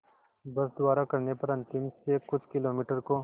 बस द्वारा करने पर अंतिम से कुछ किलोमीटर को